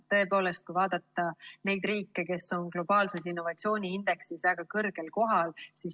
Tõepoolest, vaadake neid riike, kes on globaalses innovatsiooniindeksis väga kõrgel kohal.